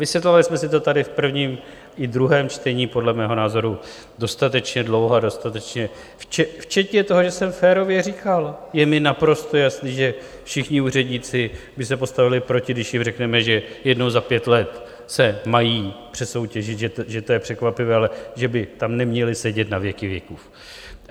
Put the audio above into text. Vysvětlovali jsme si to tady v prvním i druhém čtení podle mého názoru dostatečně dlouho a dostatečně včetně toho, že jsem férově říkal: Je mi naprosto jasné, že všichni úředníci by se postavili proti, když jim řekneme, že jednou za pět let se mají přesoutěžit, že to je překvapivé, ale že by tam neměli sedět na věky věků.